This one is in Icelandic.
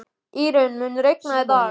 Írunn, mun rigna í dag?